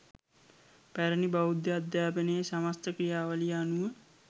පැරැණි බෞද්ධ අධ්‍යාපනයේ සමස්ත ක්‍රියාවලිය අනුව